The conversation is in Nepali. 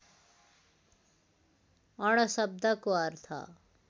अण शब्दको अर्थ